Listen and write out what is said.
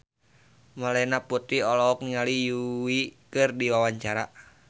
Melanie Putri olohok ningali Yui keur diwawancara